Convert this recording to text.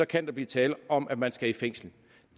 kan blive tale om at man skal i fængsel